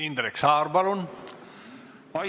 Indrek Saar, palun!